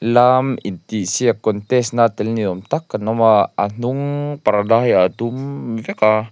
lam intihsiak contest na tel ni awm tak an awm a a hnung parda hi a dum vek a.